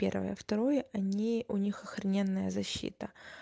первое второе они у них охрененная защита